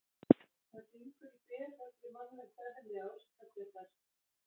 Það gengur í berhögg við mannlegt eðli að óska sér þess.